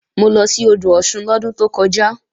Mo lọ sí odò Ọ̀ṣun lọ́dún tó kọjá